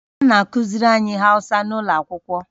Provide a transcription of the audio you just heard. Ha na-akụziri anyị Awụsa n'ụlọ akwụkwọ